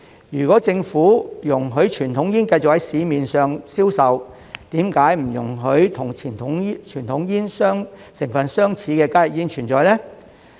如果政府容許傳統煙繼續在市面銷售，為何不容許與傳統煙成分相似的加熱煙存在呢？